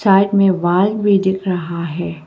Side में wall भी दिख रहा है।